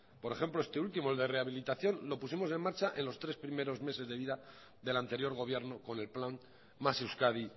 por ejemplo este último el de rehabilitación lo pusimos en marcha en los tres primeros meses de vida del anterior gobierno con el plan más euskadi